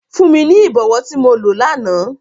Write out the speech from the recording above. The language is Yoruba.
Fun mi ni ibọwọ ti mo lo làná!